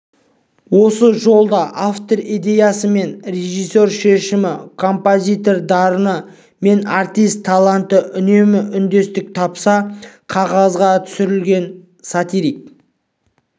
осы жолда автор идеясы мен режиссер шешімі композитор дарыны мен артист таланты үнемі үндестік тапса қағазға түсірілген сатирик